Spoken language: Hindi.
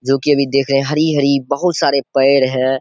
जो कि अभी देख रहे हरी-हरी बोहोत बहु सारे पैर है।